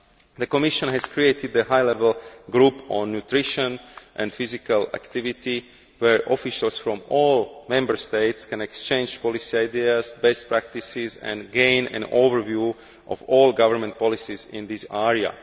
The Commission has created a High Level Group on Nutrition and Physical Activity where officials from all Member States can exchange policy ideas and best practices and gain an overview of all government policies in this area.